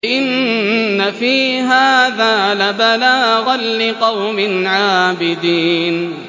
إِنَّ فِي هَٰذَا لَبَلَاغًا لِّقَوْمٍ عَابِدِينَ